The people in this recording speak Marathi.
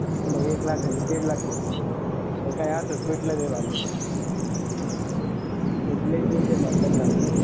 मग एक लाख आणि दीड लाख घेतले मग काय असच मिटलं ते भांडण त्याच एक दोन शे झाल.